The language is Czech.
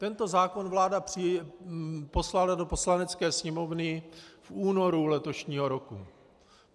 Tento zákon vláda poslala do Poslanecké sněmovny v únoru letošního roku.